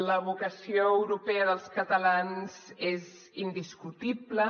la vocació europea dels catalans és indiscutible